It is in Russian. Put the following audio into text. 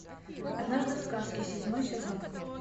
однажды в сказке седьмой сезон